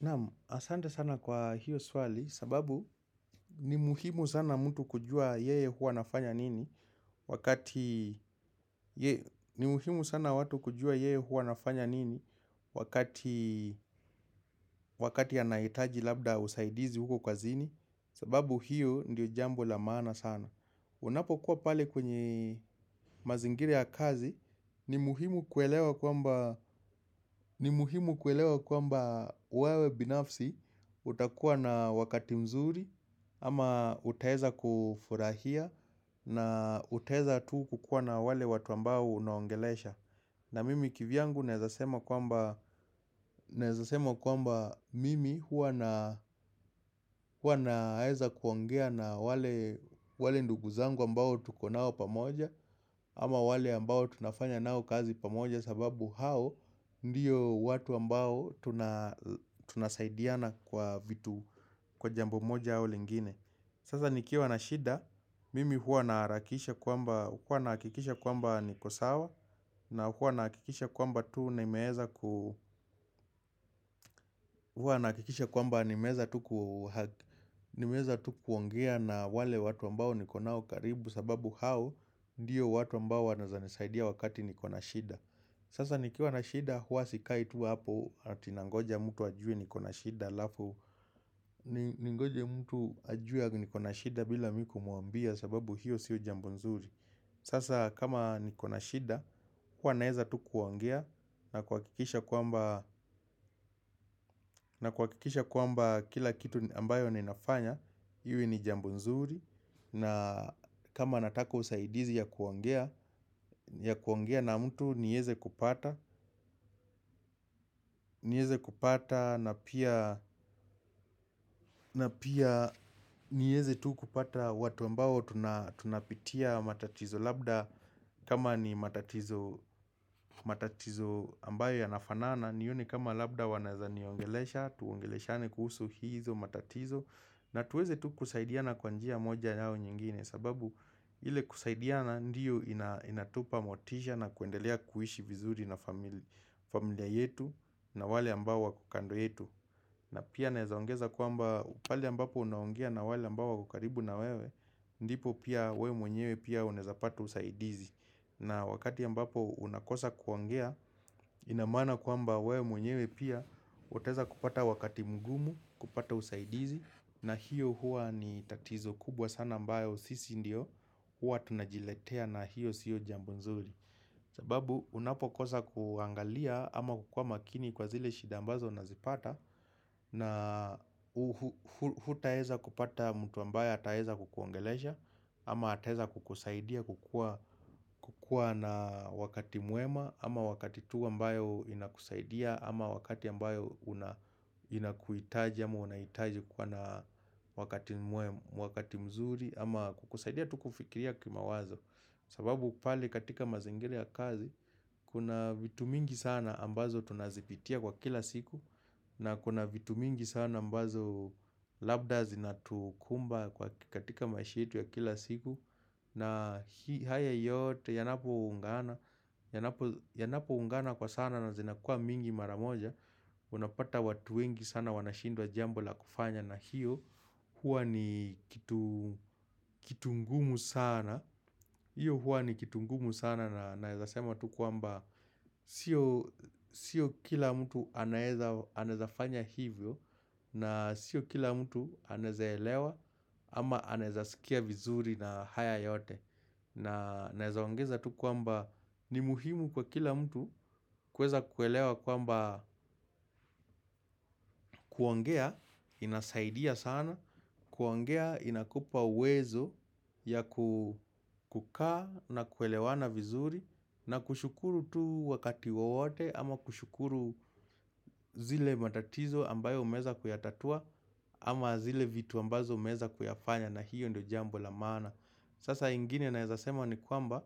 Na'am, asante sana kwa hiyo swali sababu ni muhimu sana mtu kujua yeye hua anafanya nini wakati anahitaji labda usaidizi huko kazini, sababu hiyo ndiyo jambo la maana sana. Unapokuwa pale kwenye mazingira ya kazi, ni muhimu ni muhimu kuelewa kwamba wewe binafsi utakuwa na wakati mzuri ama utaweza kufurahia na utaweza tu kukuwa na wale watu ambao unaongelesha. Na mimi kivyangu naweza sema kwamba mimi huwa naweza kuongea na wale ndugu zangu ambao tuko nao pamoja, ama wale ambao tunafanya nao kazi pamoja sababu hao ndiyo watu ambao tunasaidiana kwa vitu, kwa jambo moja au lingine Sasa nikiwa na shida, mimi huwa naharakisha kwamba, huwa nahakikisha kwamba niko sawa na huwa nahakikisha kwamba tu nimeweza ku huwa nahakikisha kwamba nimeweza tu, nimeweza tu kuongea na wale watu ambao niko nao karibu sababu hao ndiyo watu ambao wanaweza nisaidia wakati niko na shida. Sasa nikiwa na shida huwa sikai tu hapo ati nangoja mtu ajue niko na shida halafu ningoje mtu ajue eti niko na shida bila mimi kumwambia sababu hiyo siyo jambo nzuri. Sasa kama niko na shida, huwa naweza tu kuongea, na kuhakikisha kwamba na kuhakikisha kwamba kila kitu ambayo ninafanya, iwe ni jambo nzuri na kama nataka usaidizi ya kuongea, ya kuongea na mtu niweze kupata kupata na pia niweze tu kupata watu ambao tunapitia matatizo labda kama ni matatizo ambayo yanafanana nione kama labda wanaweza niongelesha, tuongeleshane kuhusu hizo matatizo na tuweze tu kusaidiana kwa njia moja au nyingine sababu ile kusaidiana ndiyo inatupa motisha na kuendelea kuishi vizuri na familia yetu na wale ambao wako kando yetu na pia naweza ongeza kwamba pale ambapo unaongea na wale ambao wako karibu na wewe ndipo pia wewe mwenyewe pia unaweza pata usaidizi. Na wakati ambapo unakosa kuongea ina maana kwamba wewe mwenyewe pia utaweza kupata wakati mgumu kupata usaidizi na hiyo hua ni tatizo kubwa sana ambayo sisi ndio hua tunajiletea na hiyo siyo jambo nzuri. Sababu unapokosa kuangalia ama kukuwa makini kwa zile shida ambazo unazipata. Na hutaweza kupata mtu ambaye ataweza kukuongelesha ama ataweza kukusaidia kukua kukua na wakati mwema ama wakati tu ambayo inakusaidia ama wakati ambayo inakuhitaji ama unahitaji kuwa na wakati mwema, wakati mzuri ama kukusaidia tu kufikiria kimawazo sababu pale katika mazingira ya kazi, kuna vitu mingi sana ambazo tunazipitia kwa kila siku na kuna vitu mingi sana ambazo labda zinatukumba katika maisha yetu ya kila siku na haya yote yanapoungana Yanapoungana kwa sana na zinakuwa mingi mara moja, unapata watu wengi sana wanashindwa jambo la kufanya na hiyo huwa ni kitu kitu ngumu sana. Hiyo huwa ni kitu ngumu sana na naweza sema tu kwamba sio Sio kila mtu anawezafanya hivyo, na sio kila mtu anaweza elewa ama anaweza sikia vizuri na haya yote Naweza ongeza tu kwamba ni muhimu kwa kila mtu kuweza kuelewa kwamba kuongea inasaidia sana kuongea inakupa uwezo ya kukaa na kuelewana vizuri, na kushukuru tu wakati wowote ama kushukuru zile matatizo ambayo umeweza kuyatatua ama zile vitu ambazo umeweza kuyafanya na hiyo ndio jambo la maana. Sasa ingine naweza sema ni kwamba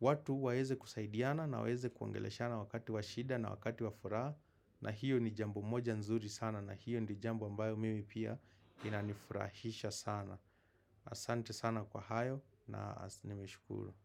watu waweze kusaidiana na waweze kuongeleshana wakati wa shida na wakati wa furaha. Na hiyo ni jambo moja nzuri sana na hiyo ndio jambo ambayo mimi pia inanifurahisha sana. Asante sana kwa hayo na nimeshukuru.